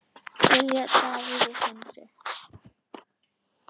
Silja, Davíð og Sindri.